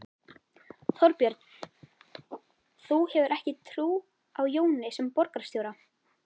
Þorbjörn: Þú hefur ekki trú á Jóni sem borgarstjóra?